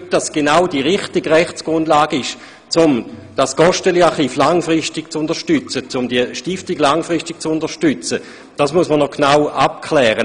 Ob es aber genau die richtige Rechtsgrundlage ist, um das Gosteli-Archiv langfristig zu unterstützen, muss man noch genau abklären.